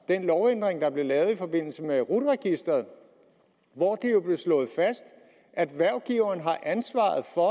den lovændring der blev lavet i forbindelse med rut registeret hvor det jo blev slået fast at hvervgiveren har ansvaret for